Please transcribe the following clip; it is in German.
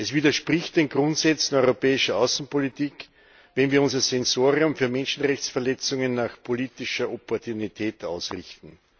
Es widerspricht den Grundsätzen europäischer Außenpolitik, wenn wir unser Sensorium für Menschenrechtsverletzungen nach politischer Opportunität ausrichten.